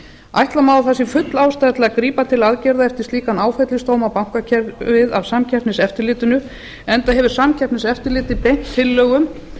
ætla má að það sé full ástæða til að grípa til aðgerða eftir slíkan áfellisdóm á bankakerfið af samkeppniseftirlitinu enda hefur samkeppniseftirlitið beint tillögum